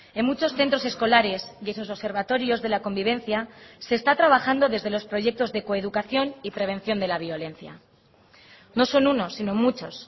en muchos centros escolares y sus observatorios de la convivencia se está trabajando desde los proyectos de coeducación y prevención de la violencia no son uno sino muchos